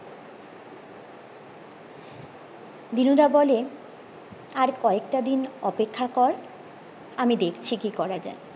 দিনুদা বলেন আর কয়েকটা দিন অপেক্ষা কর আমি দেখছি কি করা যায়